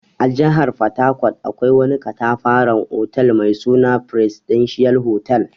A jihar fatakot akwai wani ƙatafaran otal mai suna "presidential hotel".